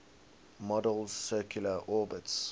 model's circular orbits